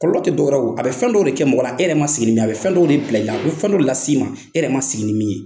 Kɔlɔlɔ tɛ dɔwɛrɛ ye a bɛ fɛn dɔw de kɛ mɔgɔ la e yɛrɛ ma sigi ni min ye a bɛ fɛn dɔw de bila i la a bɛ fɛn dɔw las'i ma e yɛrɛ ma sigi ni min ye.